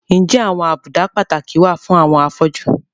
Ǹjẹ́ àwọn àbùdá pàtàkì wà fún àwọn afọ́jú?